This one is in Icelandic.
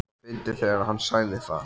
svo fyndið þegar HANN sagði það!